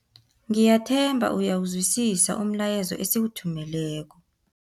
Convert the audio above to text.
Ngiyathemba uyawuzwisisa umlayezo esiwuthumeleko.